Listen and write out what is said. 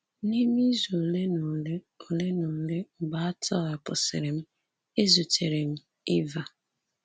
N’ime izu ole na ole ole na ole mgbe a tọhapụsịrị m, ezutere m Eva.